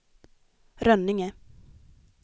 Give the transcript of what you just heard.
Rönninge